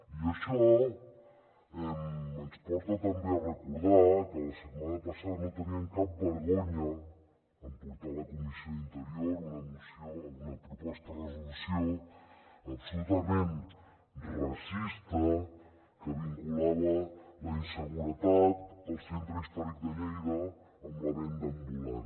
i això ens porta també a recordar que la setmana passada no tenien cap vergonya en portar a la comissió d’interior una proposta de resolució absolutament racista que vinculava la inseguretat al centre històric de lleida amb la venda ambulant